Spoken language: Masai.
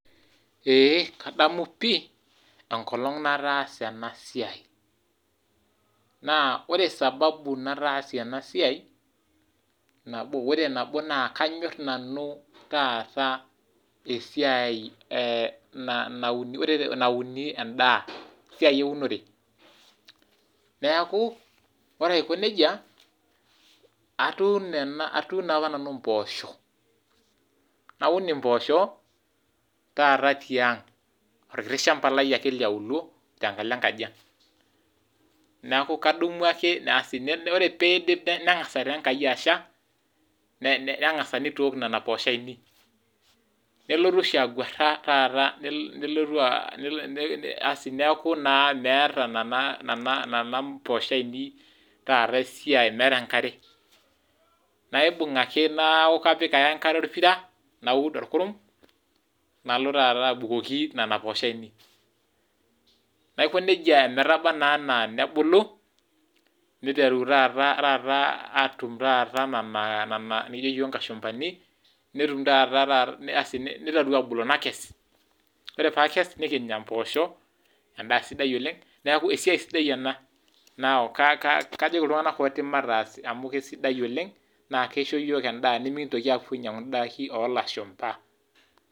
Ee kadamu pi enkolong nataasa enasai, naa ore sababu nataasie ena siai, ore nabo kanyor nanu taata esiai nauni endaa, esiai eunore, neeku ore aiko nejia atuuno apa nanu mpoosho, naun impooshok taata tiang ,orkiti shamba lai ake liauluo, tenkalo enkajiang ,neeku kadamu ake asi ore pee edipi nengas taa Enkai asha nengas neeitook Nena poosho ainei ,nelotu agwara neeku meeta nina poosho ainei meeta enkare ,naibung ake neeku kapik ake enkare orpira, naud orkurum nalo taata abukoki nena poosho aienei, naijo nejia ometaba naa ana nebulu neiteruni taata atum nena nikijo yiook inkashumpani, neiteru abulu nakes ,ore pee akes nikinya mpoosho, endaa sidai oleng neeku enda sidai ena neeku kajoki iltunganak ooti mataas amu keisidai oleng naa keisho yiok endaa mikintoki apuo ainyangu ndaiki olshaumba.